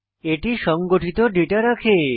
এটি সংগঠিত ডেটা রাখে